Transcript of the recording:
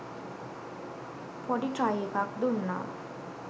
පොඩි ට්‍රයි එකක් දුන්නා